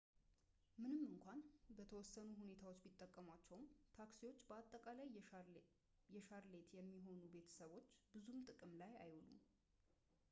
ምንም እንኳን በተወሰኑ ሁኔታዎች ቢጠቀሟቸውም ታክሲዎች በአጠቃላይ በሻርሌት በሚኖሩ ቤተሰቦች ብዙም ጥቅም ላይ አይውሉም